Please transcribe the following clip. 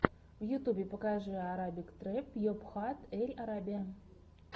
в ютубе покажи арабик трэп йобхат эль арабия